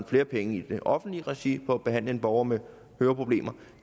flere penge i det offentlige regi på at behandle en borger med høreproblemer